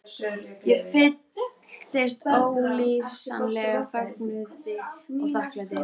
Ég fylltist ólýsanlegum fögnuði og þakklæti.